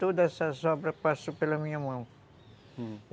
Todas essas obras passaram pela minha mão, uhum.